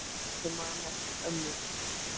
Ég man eftir ömmu.